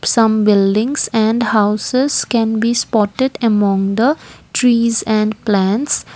some buildings and houses can be spotted among the trees and plants.